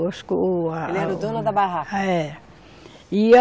O a, a, Ele era o dono da barraca? Era e a